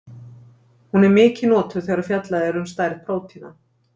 Hún er mikið notuð þegar fjallað er um stærð prótína.